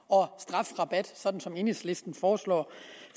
og strafrabat sådan som enhedslisten foreslår